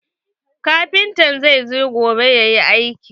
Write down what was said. Kafintan zai zo gobe yayi aikin.